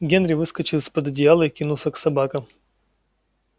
генри выскочил из под одеяла и кинулся к собакам